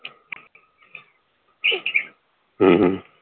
ਹਮ ਹਮ